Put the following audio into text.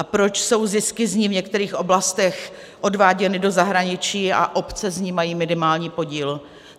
A proč jsou zisky z ní v některých oblastech odváděny do zahraničí a obce z nich mají minimální podíl?